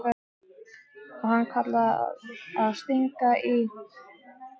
Og hann kallar það að stinga í.